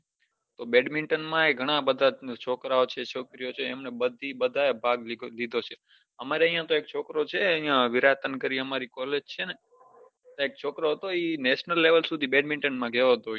તો badminton માય ગણા બધાં છે છોકરા છે છોકરીયો છે એમને બઘા એ ભાગ લીઘો છે અમારે ત્યાં એક છોકરો છે વિરાટન કરીને આમરી college છે ત્યાં એક છોકરો હતો એ national level સુધી badminton માં ગયો હતો